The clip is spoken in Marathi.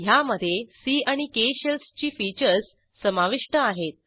ह्यामधे सी आणि के शेल्स ची फीचर्स समाविष्ट आहेत